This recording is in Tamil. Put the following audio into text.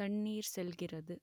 தண்ணீர் செல்கிறது